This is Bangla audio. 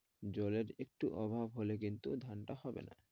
জলের একটু অভাব হলে কিন্তু ধানটা হবে না।